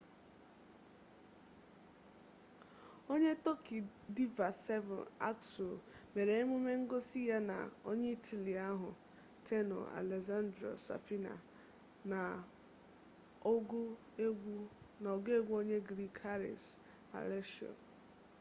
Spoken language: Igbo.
onye tọki diva sezen aksu mere emume ngosi ya na onye itali ahụ tenor alessandro safina na ọgụ egwu onye griik haris alexiou